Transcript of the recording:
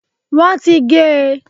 wọn ti gé e.